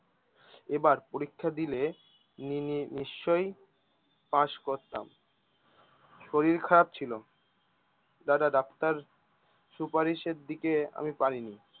এবার পরীক্ষা দিলে নি নি নিশ্চয় পাশ করতাম শরীর খারাপ ছিলো দাদা ডাক্তার সুপারিশের দিকে আমি পারিনি